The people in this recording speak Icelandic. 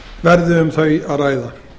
verði um þau að ræða